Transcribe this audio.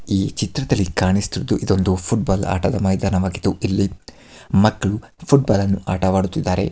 ಈ ಚಿತ್ರದಲ್ಲಿ ಕಾಣಿಸುತ್ತಿರುವುದು ಇದೊಂದು ಫುಟ್ಬಾಲ್ ಆಟದ ಮೈದಾನವಾಗಿದ್ದು ಇಲ್ಲಿ ಮಕ್ಕಳು ಫುಟ್ಬಾಲ್ ಅನ್ನು ಆಟ ಆಡುತ್ತಾ ಇದ್ದಾರೆ.